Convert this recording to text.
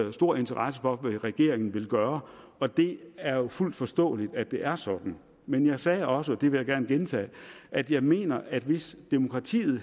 er stor interesse for hvad regeringen vil gøre og det er jo fuldt forståeligt at det er sådan men jeg sagde også og det vil jeg gerne gentage at jeg mener at hvis demokratiet